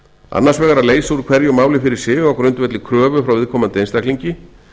annars vegar að leysa úr hverju máli fyrir sig á grundvelli kröfu frá viðkomandi einstaklingi